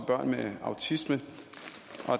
børn med autisme